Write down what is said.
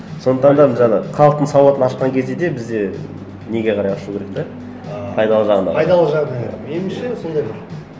сондықтан да жаңа халықтың сауатын ашқан кезде де бізде неге қарай ашу керек те ыыы пайдалы жағына пайдалы жағына иә меніңше сондай бір